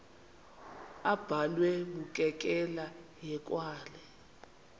abhalwe bukekela hekwane